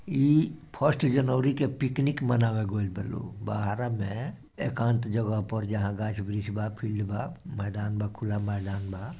इ फर्स्ट जनवरी के पिकनिक मनाबे गेल बा लोग बहरा मे एकांत जगह पर जहां गाछ वृक्ष बा फील्ड बा मैदान बा खुला मैदान बा।